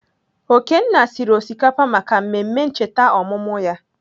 Okenna siri osikapa maka mmemme ncheta ọmụmụ ya.